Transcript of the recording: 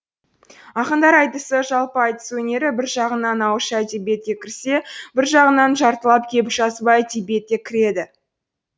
ақындар айтысы жалпы айтыс өнері бір жағынан ауызша әдебиетке кірсе бір жағынан жартылап келіп жазба әдебиетке кіреді